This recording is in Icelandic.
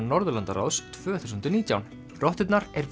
Norðurlandaráðs tvö þúsund og nítján rotturnar er